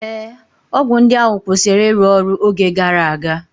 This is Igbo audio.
Ee, ọgwụ ndị ahụ kwụsịrị ịrụ ọrụ oge gara aga